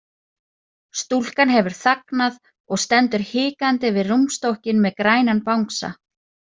Stúlkan hefur þagnað og stendur hikandi við rúmstokkinn með grænan bangsa.